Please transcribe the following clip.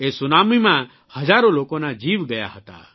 એ સુનામીમાં હજારો લોકોના જીવ ગયા હતા